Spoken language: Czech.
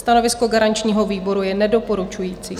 Stanovisko garančního výboru je nedoporučující.